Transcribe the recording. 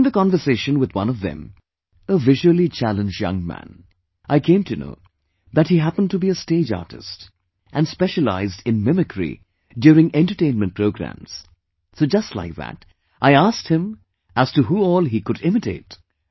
During the conversation with one of them, a visually challenged young man, and he mentioned that he happened to be a stage artist, and specialized in mimicry during entertainment programs, so just like that I asked him as to who all he could imitate